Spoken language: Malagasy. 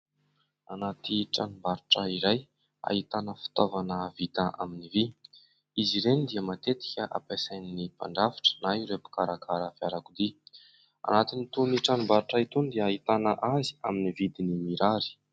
Anaty tranom-barotra iray, ahitana fitaovana vita amin'ny vy. Izy ireny dia matetika hampisain'ny mpandrafitra na ireo mpikarakara fiarakodia. Anaty itony ny tranom-barotra itony dia ahitana azy amin'ny vidiny mirary.